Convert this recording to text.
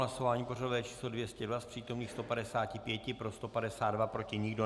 Hlasování pořadové číslo 202, z přítomných 155, pro 152, proti nikdo.